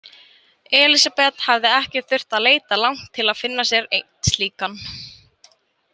Elísabet hafði ekki þurft að leita langt til að finna sér einn slíkan.